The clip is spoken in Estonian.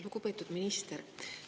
Lugupeetud minister!